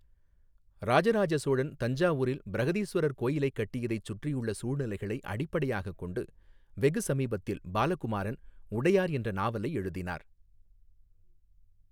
ராஜராஜ சோழன் தஞ்சாவூரில் பிரஹதீஸ்வரர் கோவிலைக் கட்டியதை சுற்றியுள்ள சூழ்நிலைகளை அடிப்படையாகக் கொண்டு, வெகு சமீபத்தில் பாலகுமாரன் 'உடையார்' என்ற நாவலை எழுதினார்.